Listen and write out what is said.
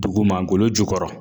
Duguma golo jukɔrɔ